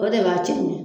O de b'a cɛ ɲa